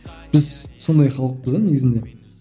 біз сондай халықпыз да негізінде